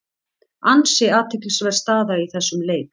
Ansi athyglisverð staða í þessum leik.